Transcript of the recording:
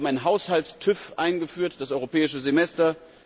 Wir haben einen Haushalts TÜV eingeführt, das europäische Semester.